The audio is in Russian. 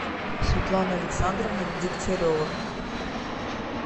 светлана александровна дегтярева